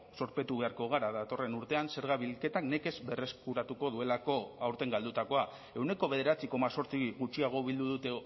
zorpetu beharko gara datorren urtean zerga bilketak nekez berreskuratuko duelako aurten galdutakoa ehuneko bederatzi koma zortzi gutxiago bildu dute